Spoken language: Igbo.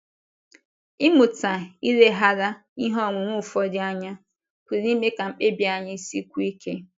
Ịmụta ileghara ihe onwunwe ụfọdụ anya pụrụ ime ka mkpebi anyị sikwuo ike.